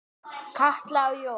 Katla og Jón.